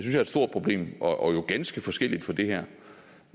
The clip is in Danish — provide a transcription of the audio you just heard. er et stort problem og jo ganske forskelligt fra det her